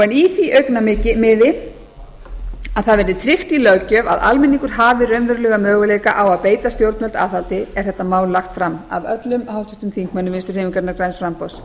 en í því augnamiði að það verði tryggt í löggjöf að almenningur hafi raunverulega möguleika á að beita stjórnvöld aðhaldi er þetta mál lagt fram af öllum háttvirtum þingmönnum vinstri hreyfingarinnar græns framboðs